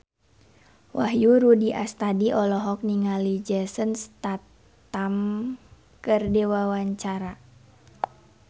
Wahyu Rudi Astadi olohok ningali Jason Statham keur diwawancara